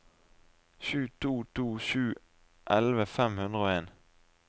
sju to to sju elleve fem hundre og en